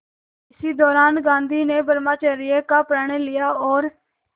इसी दौरान गांधी ने ब्रह्मचर्य का प्रण लिया और